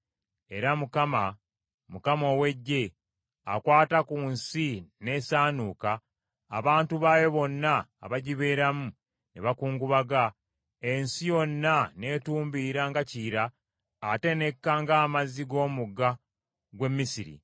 Era Mukama, Mukama ow’Eggye, akwata ku nsi n’esaanuuka, abantu baayo bonna abagibeeramu ne bakungubaga, ensi yonna n’etumbiira nga Kiyira ate n’ekka ng’amazzi g’omugga gw’e Misiri;